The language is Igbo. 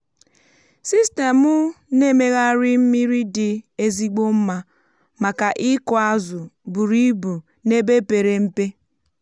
sistemụ na-emegharị mmiri dị ezigbo mma maka ịkụ azụ buru ibu n’ebe pere mpe.